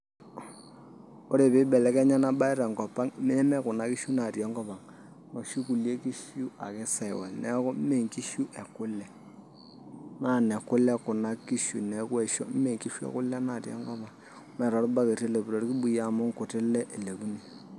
Ore pee ibelekenya ena mbae tenkop ang neme Kuna kishuu naatii enkop ang noshi kulie kishu ake saiwal neeku mee inkishu e kule naa nekule Kuna kishuu neeku aishoo mee inkishu ekule naatii enkop ang' neme tolbaketi elepi toolkibuyu amu inkuti lee eilepuni.